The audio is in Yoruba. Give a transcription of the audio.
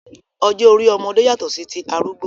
Ọjọ́ orí ọmọdé yàtọ̀ sí ti arúgbó.